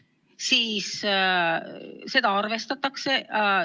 Siis seda arvestatakse.